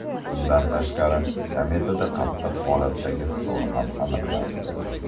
Bundan tashqari, kometada qattiq holatdagi ftor ham aniqlandi.